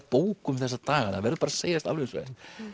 bókum þessa dagana það verður bara að segjast alveg eins og